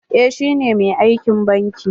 Eh shi ne mai aikin banki.